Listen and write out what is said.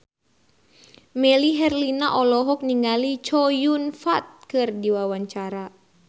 Melly Herlina olohok ningali Chow Yun Fat keur diwawancara